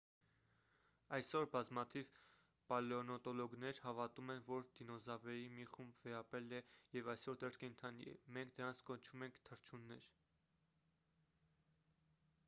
այսօր բազմաթիվ պալեոնտոլոգներ հավատում են որ դինոզավրերի մի խումբ վերապրել է և այսօր դեռ կենդանի է մենք դրանց կոչում ենք թռչուններ